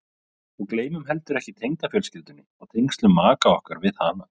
Og gleymum heldur ekki tengdafjölskyldunni og tengslum maka okkar við hana.